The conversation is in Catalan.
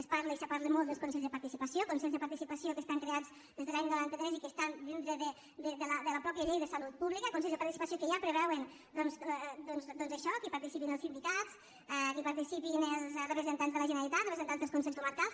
es parla i es parla molt dels consells de participació consells de participació que estan creats des de l’any noranta tres i que estan dins de la mateixa llei de salut pública consells de participació que ja preveuen això que hi participin els sindicats que hi participin els representants de la generalitat representants dels consells comarcals